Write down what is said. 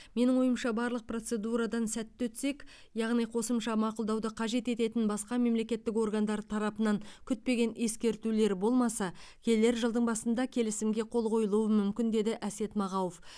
менің ойымша барлық процедурадан сәтті өтсек яғни қосымша мақұлдауды қажет ететін басқа мемлекеттік органдар тарапынан күтпеген ескертулер болмаса келер жылдың басында келісімге қол қойылуы мүмкін деді әсет мағауов